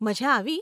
મઝા આવી?